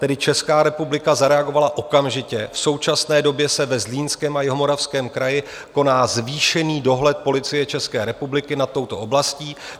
Tedy Česká republika zareagovala okamžitě, v současné době se ve Zlínském a Jihomoravském kraji koná zvýšený dohled Policie České republiky nad touto oblastí.